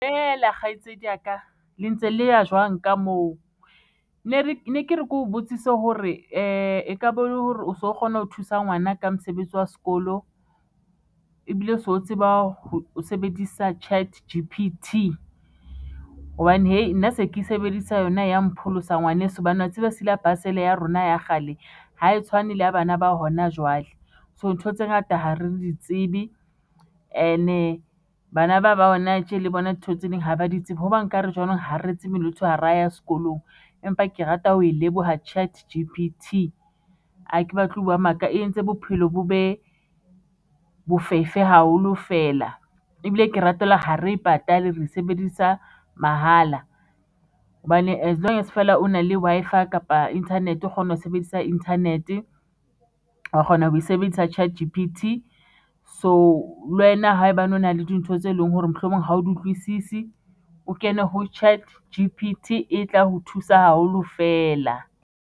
Ela kgaitsedi ya ka le ntse le ya jwang ka moo? ne ke re ke o botsise hore ekabe ele hore o so kgona ho thusa ngwana ka mosebetsi wa sekolo ebile o so tseba ho sebedisa Chat_G_P_T hobane nna se ke sebedisa yona ya mpholosa ngwaneso hobane wa tseba silabase ya rona ya kgale ha e tshwane le ya bana ba hona jwale. So ntho tse ngata ha re di tsebe and-e bana ba ba hona tje le bona dintho tse ding ha ba di tsebe hoba nkare jwanong ha re tsebe hara ya skolong empa ke rata ho e leboha Chat_G_P_T ha ke batle ho bua maka e entse bophelo bo be bofefe haholo feela ebile ke ratela ha re patale re sebedisa mahala hobane as-long as fela o na le Wi-Fi kapa internet o kgona ho sebedisa internet wa kgona ho e sebedisa Chat_G_P_T so lwena haebane o na le dintho tse leng hore mohlomong ha o di utlwisisi, o kene ho Chat_G_P_T e tla ho thusa haholo fela.